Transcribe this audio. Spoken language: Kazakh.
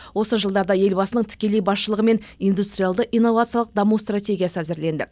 осы жылдарда елбасының тікелей басшылығымен индустриалды инновациялық даму стратегиясы әзірленді